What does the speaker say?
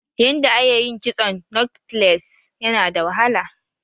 Yanda a ye yin kitson " knotless" Yana da wahala.